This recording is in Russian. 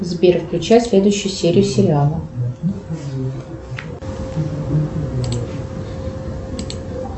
сбер включай следующую серию сериала